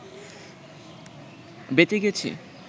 বেঁচে গেছি